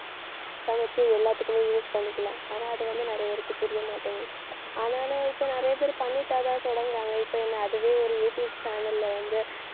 சமைச்சு எல்லாத்துக்குமே use பண்ணிக்கலாம். ஆனா அது வந்து நிறைய பேருக்கு புரியமாட்டேங்குது. ஆனாலும் இப்ப நிறைய பேர் பண்ணிட்டாதான் தொடங்குறாங்க இப்ப என்னை அதுவே ஒரு யூடூப் channel ல வந்து